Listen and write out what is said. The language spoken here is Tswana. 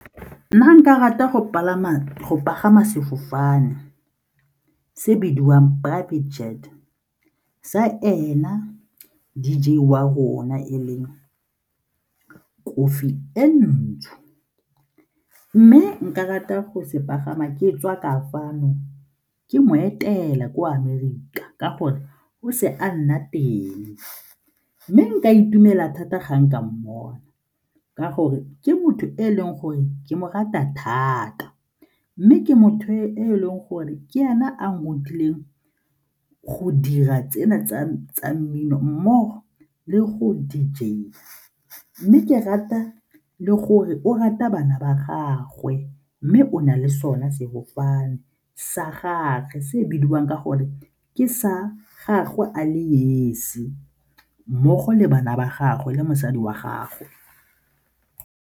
Nna nka rata go pagama sefofane se bidiwang Buddy Jet sa ena D_J wa rona e leng kofi e ntsho mme nka rata go se pagama ke tswa kae fano ke mo etela ko Amerika ka gore o se a nna teng mme nka itumela thata ga nka mmona ka gore ke motho e leng gore ke mo rata thata mme ke motho e e leng gore ke ena a nthutileng go dira tsena tsa mmino mmogo le go D_J-ya mme ke rata le gore o rata bana ba gagwe mme o na le sone sefofane sa gage se bidiwang ka gore ke sa gagwe a le esi mmogo le bana ba gagwe le mosadi wa gagwe.